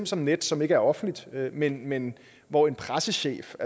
som nets som ikke er offentligt men men hvor en pressechef